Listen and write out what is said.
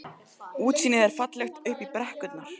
sagði Valdimar eftir formlegt upphaf yfirheyrslunnar.